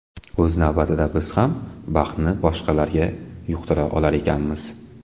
O‘z navbatida biz ham baxtni boshqalarga yuqtira olar ekanmiz.